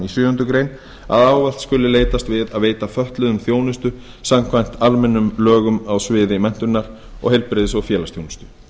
sjöundu grein að ávallt skuli leitast við að veita fötluðum þjónustu samkvæmt almennum lögum á sviði menntunar og heilbrigðis og félagsþjónustu